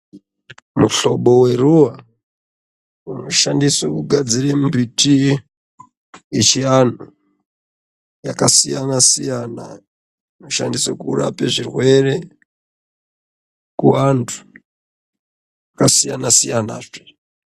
Muhlobo weruva unoshandiswe kugadzire mbiti yechianhu yakasiyana-siyana, inoshandiswe kurape zvirwere, kuvantu vakasiyana-siyanazve.